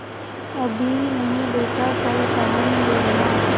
अभी नहीं बेटा कल पहन लेना